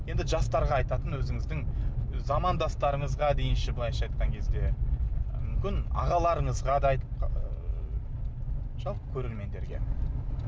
енді жастарға айтатын өзіңіздің замандастарыңызға дейінші былайша айтқан кезде мүмкін ағаларыңызға да айтып ыыы жалпы көрермендерге